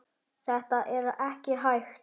Þetta er ekki hægt.